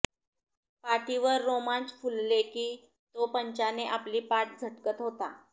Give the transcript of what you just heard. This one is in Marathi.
पाठीवर रोमांच फुलले की तो पंचाने आपली पाठ झटकत होता